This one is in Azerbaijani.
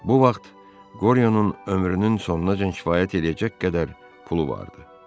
Bu vaxt Qoryonun ömrünün sonuncə kifayət eləyəcək qədər pulu vardı.